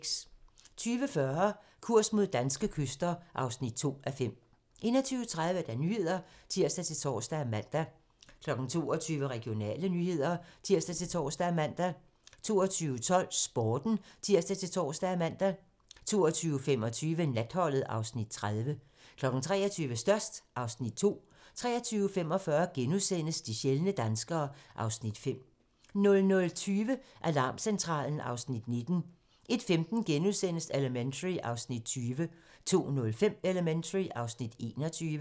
20:40: Kurs mod danske kyster (2:5) 21:30: Nyhederne (tir-tor og man) 22:00: Regionale nyheder (tir-tor og man) 22:12: Sporten (tir-tor og man) 22:25: Natholdet (Afs. 30) 23:00: Størst (Afs. 2) 23:45: De sjældne danskere (Afs. 5)* 00:20: Alarmcentralen (Afs. 19) 01:15: Elementary (Afs. 20)* 02:05: Elementary (Afs. 21)